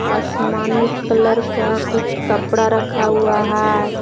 आसमानी कलर का कुछ कपड़ा रखा हुआ है।